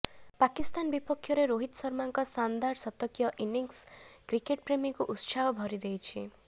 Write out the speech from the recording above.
ପାକିସ୍ତାନ ବିପକ୍ଷରେ ରୋହିତ ଶର୍ମାଙ୍କ ଶାନଦାର ଶତକୀୟ ଇନିଂସ୍ କ୍ରିକେଟ୍ ପ୍ରେମୀଙ୍କୁ ଉତ୍ସାହ ଭରିଦେଇଛି